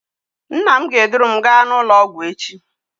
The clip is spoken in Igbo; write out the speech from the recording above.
Nna m ga-eduru m gaa n'ụlọọgwụ echi